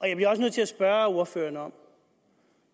jeg bliver også nødt til at spørge ordføreren